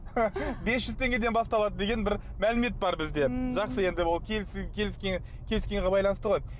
бес жүз теңгеден басталады деген бір мәлімет бар бізде м жақсы енді ол келіскенге байланысты ғой